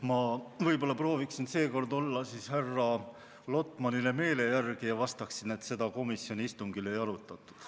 Ma võib-olla prooviksin seekord olla siis härra Lotmanile meele järele ja vastaksin, et seda komisjoni istungil ei arutatud.